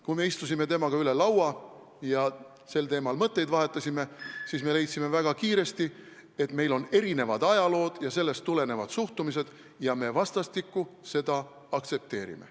Kui me istusime temaga üle laua ja sel teemal mõtteid vahetasime, siis me leidsime väga kiiresti, et meil on erinev ajalugu ja sellest tulenevad suhtumised ning me vastastikku seda aktsepteerime.